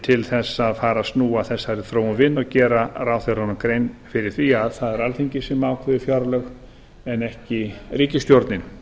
til að fara að snúa þessari þróun við og gera ráðherrunum grein fyrir því að það er alþingi sem ákveður fjárlög en ekki ríkisstjórnin